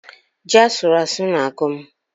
Ji asụrụ asụ na-agụ m